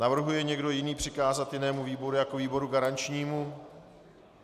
Navrhuje někdo jiný přikázat jinému výboru jako výboru garančnímu?